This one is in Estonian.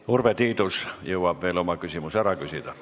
Urve Tiidus jõuab veel oma küsimuse ära küsida.